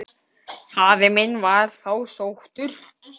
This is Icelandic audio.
Faðir minn var þá sóttur.